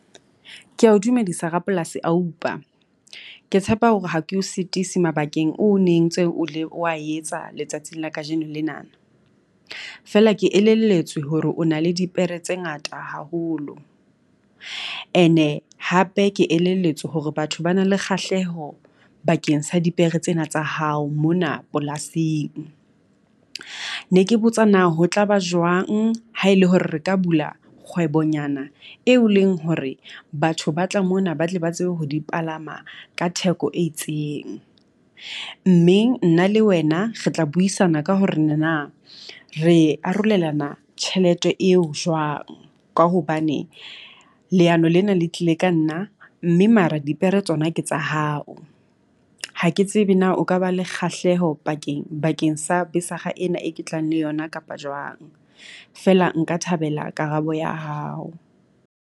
Kea o dumedisa rapolasi Oupa. Ke tshepa hore ha ke o sitise mabakeng o ne ntseng o ne o wa etsa letsatsing la kajeno lenana, feela ke elelletswe hore o na le dipere tse ngata haholo. Ene hape ke elelletswe hore batho ba na le kgahleho bakeng sa dipere tsena tsa hao mona polasing. Ne ke botsa na ho tla ba jwang ha e le hore re ka bula kgwebo nyana eo leng hore batho ba tla mona ba tle ba tsebe ho di palama ka theko e itseng? Mme nna le wena re tla buisana ka hore ne na re arolelana tjhelete eo jwang. Ka hobane leano lena le tlile ka nna mme mara dipere tsona ke tsa hao. Ha ke tsebe na o ka ba le kgahleho pakeng bakeng sa ena e ke tlang le yona kapa jwang? Feela nka thabela karabo ya hao.